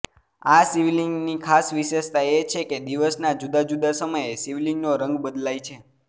આ શિવલિંગની ખાસ વિશેષતા એ છે કે દિવસના જૂદા જુદા સમયે શિવલિંગનો રંગ બદલાય છે